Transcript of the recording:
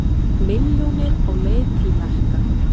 Milljónir á leið til Mekka